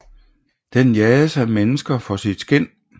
Den jages af mennesker for sit skind